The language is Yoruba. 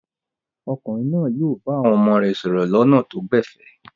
Ọkùnrin náà yóò bá àwọn ọmọ rẹ̀ sọ̀rọ̀ lọ́nà tó gbẹ̀fẹ̀?